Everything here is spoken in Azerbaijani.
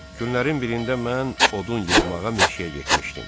Günlərin birində mən odun yığmağa meşəyə getmişdim.